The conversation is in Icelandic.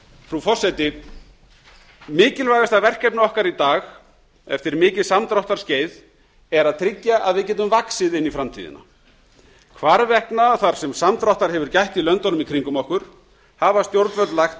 frú forseti mikilvægasta verkefni okkar í dag eftir mikið samdráttarskeið er að tryggja að við getum vaxið inn í framtíðina hvarvetna þar sem samdráttar hefur gætt í löndunum í kringum okkur hafa stjórnvöld lagt